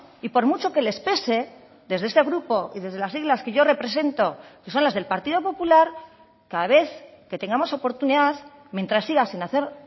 y por mucho que les pese desde este grupo y desde las siglas que yo represento que son las del partido popular cada vez que tengamos oportunidad mientras siga sin hacer